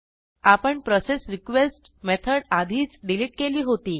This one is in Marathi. आपण प्रोसेसरीक्वेस्ट मेथड आधीच डिलीट केली होती